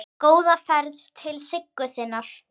Góða ferð til Siggu þinnar.